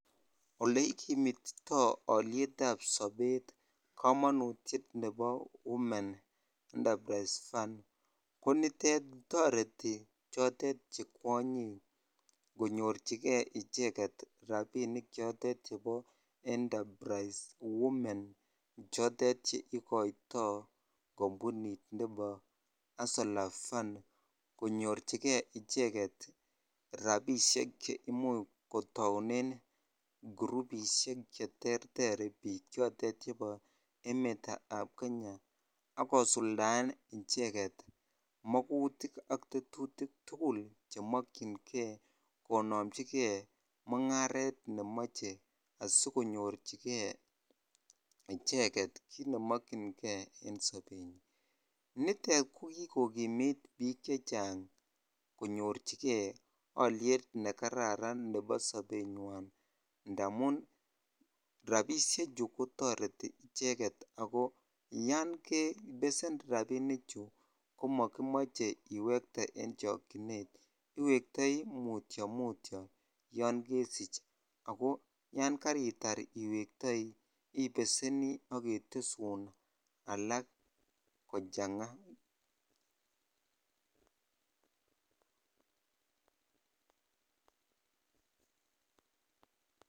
Ole ikimitito olietab sobet komonutiet nebo women enterprise funds konitet toreti chotet che kwonyik konyorchikee icheket rapinik chotet chepo enterprise women chotet cheikoito kompunit nepo hustler funds konyor chikee icheget rapishek cheimuche kotounen gurupishek cheterter biiik chotet chepo emetab Kenya akosuldaen icheget magutik ak tetutik tugul chemokyn Kee konomchi mungaret nemoche asikonyor Kee icheget kit nemokyin Kee en sopenywan nitet kokikokimit biik chechang konyor chi Kee oilet nekararan nepo sopenywan ndamun rapishe chuu kutoreti icheket Ako Yoon kepesen rapinichu komokimoche iwekte en chokyinet iwektoi mutio mutio Yoon kesich Ako Yoon keritar en iwektoi ipeseni ak ketesun alak kochangaa